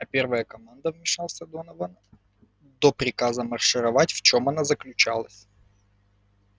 а первая команда вмешался донован до приказа маршировать в чём она заключалась